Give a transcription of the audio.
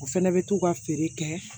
O fɛnɛ bɛ t'u ka feere kɛ